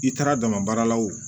I taara dama baarala wo